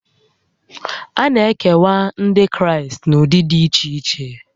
A na-ekewa Ndị Kraịst n'ụdị dị iche iche